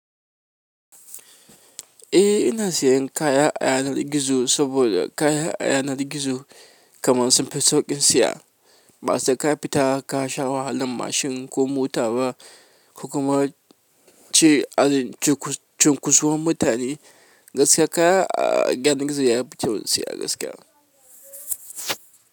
Eh ina sayan kaya a yanar gizo saboda kayan a yanar gizo kamar sun fi sauƙin siya. Ba sa ka fita ka sha wahalan mashin ko mota ba, kuma ci a cikin cunkusuwar mutane gaskiya kaya a yanar gizo yafi sauƙi siya gaskiya.